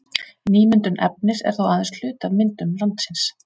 Nýmyndun efnis er þó aðeins hluti af myndun landsins.